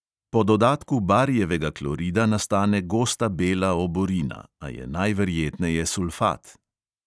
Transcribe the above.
Po dodatku barijevega klorida nastane gosta bela oborina, a je najverjetneje sulfat.